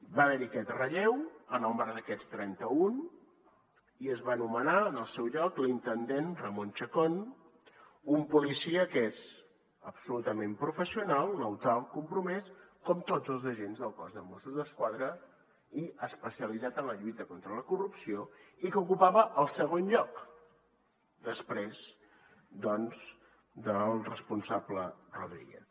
va haver hi aquest relleu en el marc d’aquests trenta un i es va nomenar en el seu lloc l’intendent ramón chacón un policia que és absolutament professional neutral compromès com tots els agents del cos de mossos d’esquadra i especialitzat en la lluita contra la corrupció i que ocupava el segon lloc després doncs del responsable rodríguez